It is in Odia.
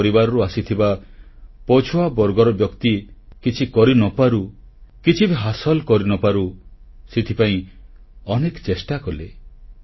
ଗରିବ ପରିବାରରୁ ଆସିଥିବା ପଛୁଆବର୍ଗର ବ୍ୟକ୍ତି କିଛି କରିନପାରୁ କିଛି ବି ହାସଲ କରିନପାରୁ ସେଥିପାଇଁ ଅନେକ ଚେଷ୍ଟା କଲେ